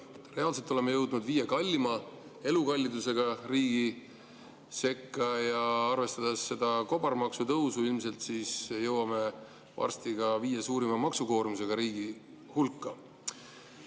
Reaalselt oleme jõudnud elukalliduse poolest viie kalleima riigi sekka ja arvestades seda kobarmaksutõusu, jõuame ilmselt varsti ka viie suurima maksukoormusega riigi hulka.